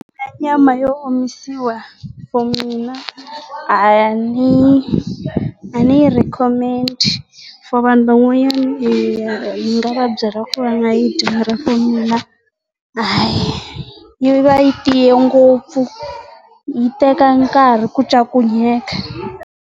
Nyama yo omisiwa formed mina hayani ni rin khomekiki of nhoveni mavabyi ra kura nayiti supreme yi vayile siya ngopfu yi teka nkarhi ku ncakunya dyeka